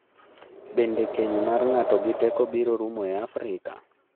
Bende keny mar ng’ato gi teko biro rumo e Afrika?